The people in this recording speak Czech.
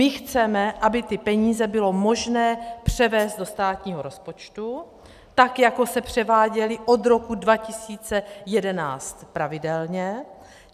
My chceme, aby ty peníze bylo možné převést do státního rozpočtu tak, jako se převáděly od roku 2011 pravidelně.